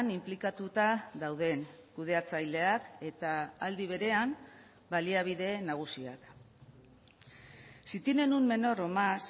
inplikatuta dauden kudeatzaileak eta aldi berean baliabide nagusiak si tienen un menor o más